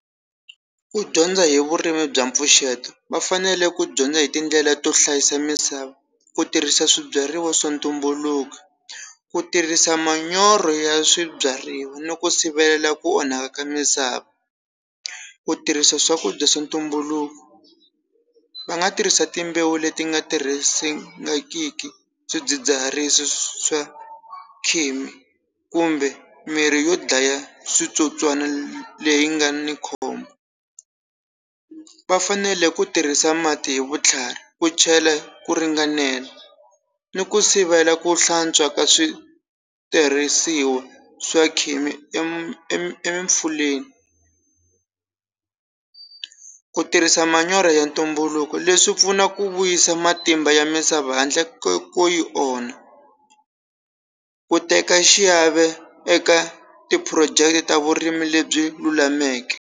Ku dyondza hi vurimi bya mpfuxeto va fanele ku dyondza hi tindlela to hlayisa misava ku tirhisa swibyariwa swa ntumbuluko ku tirhisa manyoro ya swibyariwa ni ku sivela ku onhaka ka misava ku tirhisa swakudya swi ntumbuluko va nga tirhisa timbewu leti nga tirhisiwangiki swidzidziharisi swa kumbe mirhi yo dlaya switsotswana leyi nga ni khombo va fanele ku tirhisa mati hi vutlhari ku chela ku ringanela ni ku sivela ku hlantswa ka switirhisiwa swa khemi e e epfuleni ku tirhisa manyoro ya ntumbuluko leswi pfuna ku vuyisa matimba ya misava handle ko yi onha ku teka xiave eka ti phurojeke ta vurimi lebyi lulameke.